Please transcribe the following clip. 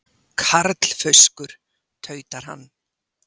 Karlfauskur, tautar hann.